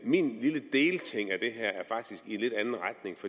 min lille delting af